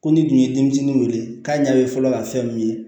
Ko ni tun ye denmisɛnninw wele k'a ɲɛ bɛ fɔlɔ ka fɛn min ye